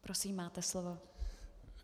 Prosím, máte slovo.